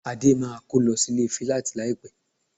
Adé máa kó lọ sílé fíláàtì láìpẹ́